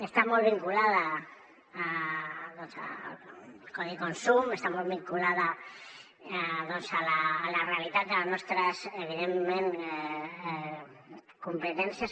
està molt vinculada al codi de consum està molt vinculada a la realitat de les nostres evidentment competències